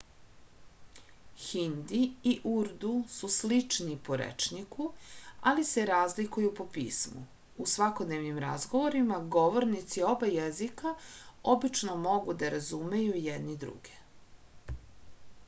hindi i urdu su slični po rečniku ali se razlikuju po pismu u svakodnevnim razgovorima govornici oba jezika obično mogu da razumeju jedni druge